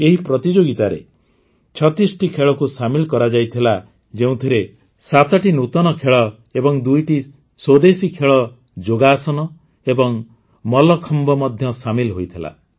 ଏହି ପ୍ରତିଯୋଗିତାରେ ୩୬ଟି ଖେଳକୁ ସାମିଲ କରାଯାଇଥିଲା ଯେଉଁଥିରେ ୭ଟି ନୂତନ ଖେଳ ଏବଂ ୨ଟି ସ୍ୱଦେଶୀ ଖେଳ ଯୋଗାସନ ଏବଂ ମଲ୍ଲଖମ୍ବ ମଧ୍ୟ ସାମିଲ ହୋଇଥିଲା